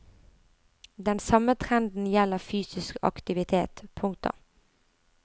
Den samme trenden gjelder fysisk aktivitet. punktum